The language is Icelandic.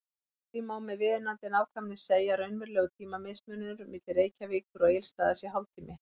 Því má með viðunandi nákvæmni segja að raunverulegur tímamismunur milli Reykjavíkur og Egilsstaða sé hálftími.